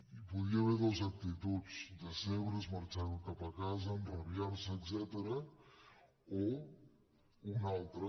hi podia haver dues actituds decebre’s marxar cap a casa enrabiar·se etcètera o una altra